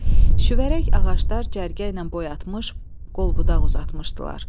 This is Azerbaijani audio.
Şüvərək ağaclar cərgəylə boy atmış, qol-budaq uzatmışdılar.